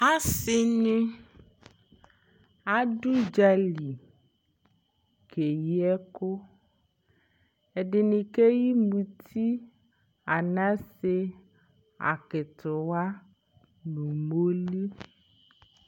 ase ni ado udza li keyi ɛko ɛdini keyi muti anase akitiwa no umoli